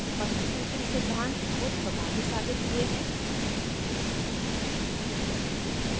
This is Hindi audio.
panchsutri सिद्धांत बहुत प्रभावी साबित हुए हैं